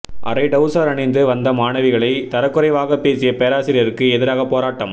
அரை டவுசர் அணிந்து வந்த மாணவிகளை தரக்குறைவாக பேசிய பேராசிரியருக்கு எதிராக போராட்டம்